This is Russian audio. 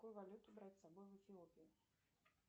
какую валюту брать с собой в эфиопию